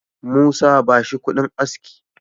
Musa, ba shi kudin aski